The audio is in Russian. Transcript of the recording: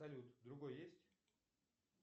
салют другой есть